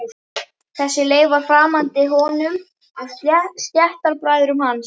Þessi leið var framandi honum og stéttarbræðrum hans.